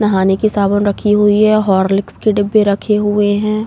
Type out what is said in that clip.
नहाने की साबुन रखी हुई हैं। होर्लिक्स के डिब्बे रखे हुए हैं।